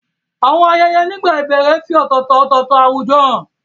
Àwọn ayẹyẹ nígbà ìbẹ̀rẹ̀ fi ọ̀tọ̀ọ̀tọ̀ ọ̀tọ̀ọ̀tọ̀ àwùjọ hàn.